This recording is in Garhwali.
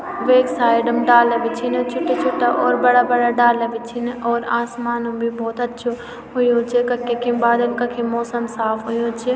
वेक साइड म डाला भी छिन छुट्टा छुट्टा और बड़ा बड़ा डाला भी छिन और आसमान म भी भौत अच्छो हुयुं च कख कखिम बादल कखिम मौसम साफ़ हुयुं च।